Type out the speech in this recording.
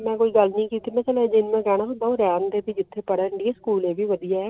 ਮੇਂ ਕੋਈ ਗੱਲ ਨਹੀਂ ਕਿੱਤੀ ਮੇਂ ਬਸ ਤੈਨੂੰ ਇਤਨਾ ਕਹਿਣਾ ਸੀ ਰਹਿਣ ਦੇ ਜਿੱਥੇ ਪੜਨਦੀ ਸਕੂਲ ਉਹ ਵੀ ਵਧੀਆ